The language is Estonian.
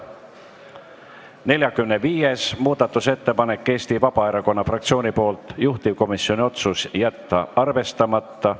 45. muudatusettepanek on Eesti Vabaerakonna fraktsioonilt, juhtivkomisjoni otsus: jätta arvestamata.